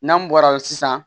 N'an bɔra sisan